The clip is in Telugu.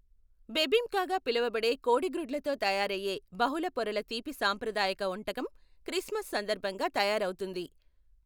బెబింకాగా పిలవబడే కోడిగ్రుడ్లతో తయారయ్యే బహుళ పొరల తీపి సాంప్రదాయక వంటకం క్రిస్మస్ సందర్భంగా తయారవుతుంది.